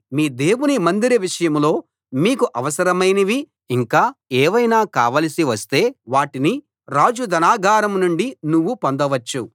మీ దేవుని మందిర విషయంలో మీకు అవసరమైనవి ఇంకా ఏవైనా కావలసివస్తే వాటిని రాజు ధనాగారం నుండి నువ్వు పొందవచ్చు